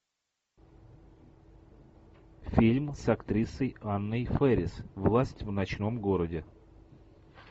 фильм с актрисой анной фэрис власть в ночном городе